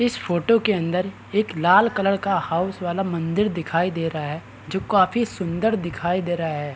इस फोटो के अंदर एक लाल कलर का हाउस वाला मंदिर दिखाई दे रहा है जो काफी सुंदर दिखाई दे रहा है।